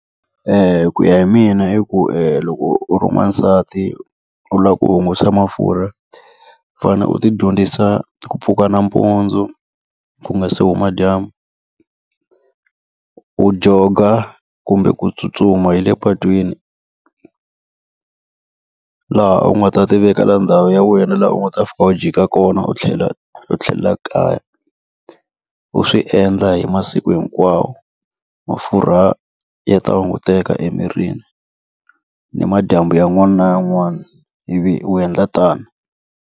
Ku ya hi mina i ku loko u ri n'wansati u lava ku hunguta mafurha, u fanele u ti dyondzisa ku pfuka nampundzu ku nga se huma dyambu. U jog-a kumbe ku tsutsuma hi le patwini laha u nga ta ti vekela ndhawu ya wena laha u nga ta fika u jika kona u u tlhelela kaya. U swi endla hi masiku hinkwawo. Mafurha ya ta hunguteka emirini, ni madyambu yan'wana na yan'wana ivi u endla tani.